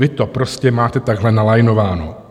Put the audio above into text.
Vy to prostě máte takhle nalajnováno.